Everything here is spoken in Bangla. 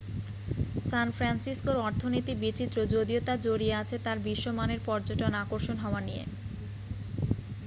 স্যান ফ্রান্সিসকো'র অর্থনীতি বিচিত্র যদিও তা জড়িয়ে আছে তার বিশ্ব-মানের পর্যটন আকর্ষণ হওয়া নিয়ে